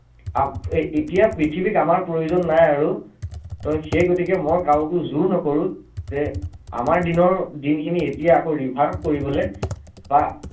এতিয়া পৃথিৱীক আমাৰ প্ৰয়োজন নাই আৰু, ত সেই গতিকে মই কাৰোকো যোৰ নকৰো যে আমাৰ দিনৰ দিন খিনি এতিয়া আকৌ reverve কৰিবলে, বা